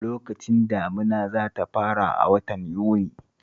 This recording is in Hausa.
Lokacin damuna za ta fara a watan Yuni